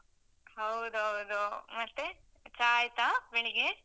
ಹೌದೌದು. ಮತ್ತೆ? ಚಾ ಆಯ್ತಾ ಬೆಳಿಗ್ಗೆ?